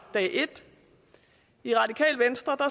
dag et i radikale venstre